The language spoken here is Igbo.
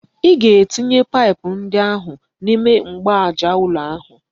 Ị ga-etinye paịpụ ndị ahụ n'ime mgbaaja ụlọ ahụ!